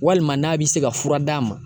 Walima n'a bɛ se ka fura d'a ma